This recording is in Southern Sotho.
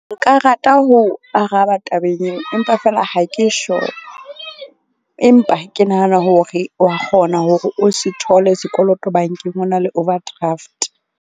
Nka rata ho araba tabeng eo. Empa feela ha ke sure, empa ke nahana hore wa kgona hore o se thole sekoloto bank-eng o na le overdraft.